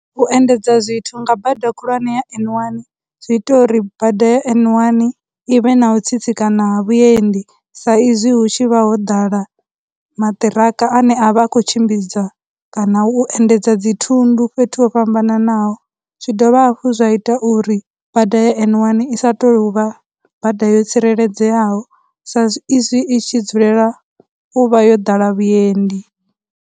U endedza zwithu nga bada khulwanesa ya N one zwi ita uri bada ya N one i vhe na u tsitsikana na vhuendi sa izwi hu tshi vha ho ḓala maṱiraka ane avha a khou tshimbidza kana u endedza dzithundu fhethu ho fhambananaho, zwi dovha hafhu zwa ita uri bada ya N one i sa tou uvha bada yo tsireledzeaho sa izwi i tshi dzulela u vha yo ḓala vhuendi.